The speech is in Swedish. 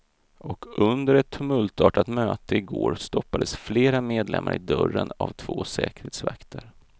Och under ett tumultartat möte i går, stoppades flera medlemar i dörren av två säkerhetsvakter.